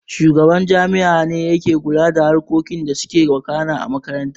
Shugaban jami'a ne yake kula da harkokin da suke wakana a makaranta